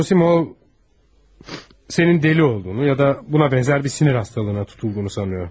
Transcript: Doktor Zosimov sənin dəli olduğunu ya da buna bənzər bir sinir xəstəliyinə tutulduğunu güman edirəm.